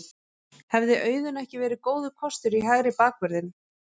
Hefði Auðun ekki verið góður kostur í hægri bakvörðinn?